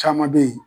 Caman be ye